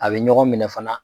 A bɛ ɲɔgɔn minɛ fana